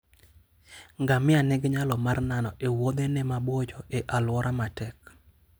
Ngamia nigi nyalo mar nano e wuodhene maboyo e alwora matek.